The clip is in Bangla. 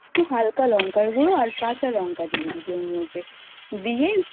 হালকা লঙ্কার গুঁড়ো কাঁচা লঙ্কা দিয়ে দিবি ওর মধ্যে দিয়ে